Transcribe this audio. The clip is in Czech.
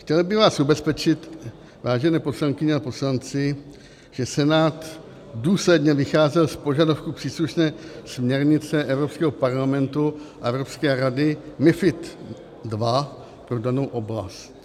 Chtěl bych vás ubezpečit, vážené poslankyně a poslanci, že Senát důsledně vycházel z požadavků příslušné směrnice Evropského parlamentu a Evropské rady MiFID II pro danou oblast.